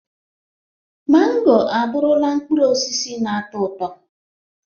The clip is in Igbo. Mango abụrụla mkpụrụ osisi na-atọ ụtọ.